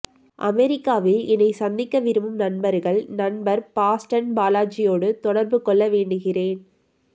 அமெரிக்காவில் என்னைச் சந்திக்க விரும்பும் நண்பர்கள் நண்பர் பாஸ்டன் பாலாஜியோடு தொடர்பு கொள்ள வேண்டுகிறேன்